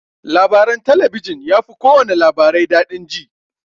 Labaran talabijin yafi kowana labarai daɗi jin.